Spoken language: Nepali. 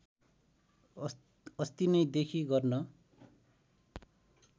अस्तिनैदेखि गर्न